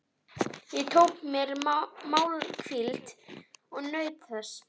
Ég tók mér málhvíld og naut þess.